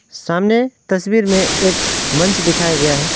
सामने तस्वीर में एक मंच दिखाया गया है।